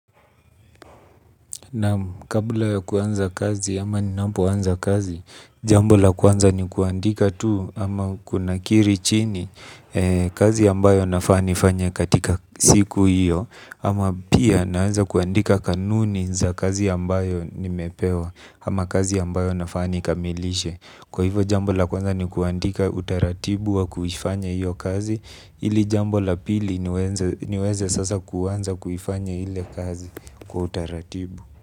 Naam kabla ya kuanza kazi ama ninapoanza kazi jambo la kwanza ni kuandika tu ama kunakiri chini kazi ambayo nafaa nifanye katika siku hiyo. Ama pia naanza kuandika kanuni za kazi ambayo nimepewa. Ama kazi ambayo nafaa nikamilishe kwa hivo jambo la kwanza ni kuandika utaratibu wa kuifanya hiyo kazi ili jambo la pili niweze sasa kuanza kuifanya ile kazi kwa utaratibu.